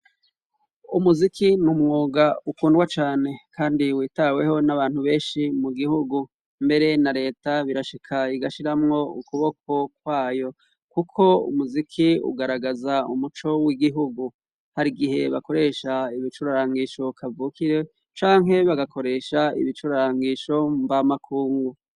Umuziki n'umwuga ukundwa cane kandi witaweho n'abantu benshi mu gihugu, mbere na leta birashika igashiramwo ukuboko kwayo kuko umuziki ugaragaza umuco w'igihugu, hari igihe bakoresha ibicurarangisho kavukire canke bagakoresha ibicurarangisho mb'amakungu.